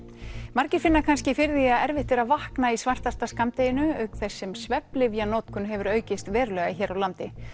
margir finna kannski fyrir því að erfitt er að vakna í svartasta skammdeginu auk þess sem svefnlyfja notkun hefur aukist verulega hér á landi